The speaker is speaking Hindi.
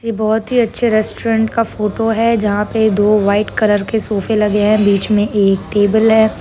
ये बहोत ही अच्छे रेस्टोरेंट का फोटो है जहाँ पे दो वाइट कलर के सोफे लगे है बीच में एक टेबल है।